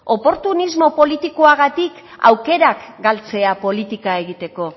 oportunismo politikoagatik aukerak galtzea politika egiteko